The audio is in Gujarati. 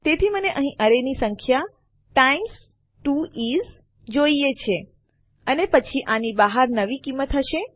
તેથી મને અહીં એરેની સંખ્યા ટાઇમ્સ 2 ઇસ જોઈએ છે અને પછી આની બહાર નવી કિંમત હશે